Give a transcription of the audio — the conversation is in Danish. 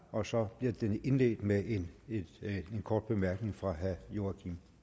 og så bliver det indledt med en kort bemærkning fra herre joachim